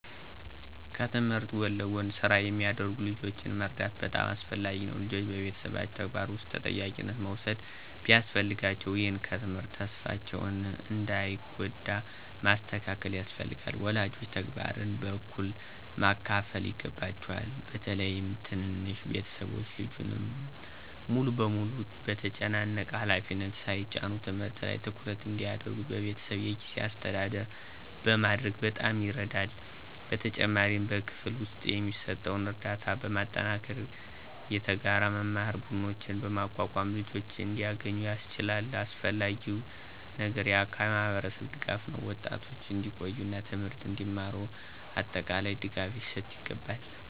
ከትምህርት ጎን ለጎን ስራ የሚያደርጉ ልጆችን መርዳት በጣም አስፈላጊ ነው። ልጆች በቤተሰብ ተግባር ውስጥ ተጠያቂነት መውሰድ ቢያስፈልጋቸውም፣ ይህ ከትምህርት ተስፋቸውን እንዳይጎዳ ማስተካከል ያስፈልጋል። ወላጆች ተግባርን በእኩል ማካፈል ይገባቸዋል፣ በተለይም ትንንሽ ቤተሰቦች ልጁን ሙሉ በሙሉ በተጨናነቀ ሃላፊነት ሳይጭኑ። ትምህርት ላይ ትኩረት እንዲያደርጉ በቤተሰብ የጊዜ አስተዳደር ማድረግ በጣም ይረዳል። በተጨማሪም በክፍል ውስጥ የሚሰጠውን ርዳታ በማጠናከር፣ የተጋራ መማር ቡድኖችን በማቋቋም ልጆች እንዲያገኙ ያስችላል። አስፈላጊው ነገር የአካባቢ ማህበረሰብ ድጋፍ ነው፤ ወጣቶች እንዲቆዩ እና ትምህርትን እንዲማሩ አጠቃላይ ድጋፍ ሊሰጥ ይገባል።